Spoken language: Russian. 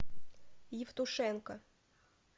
евтушенко